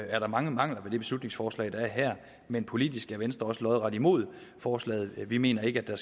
er der mange mangler ved det her beslutningsforslag men politisk er venstre også lodret imod forslaget vi mener ikke at der